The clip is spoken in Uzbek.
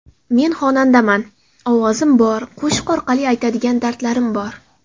Men xonandaman: ovozim bor, qo‘shiq orqali aytadigan dardlarim bor.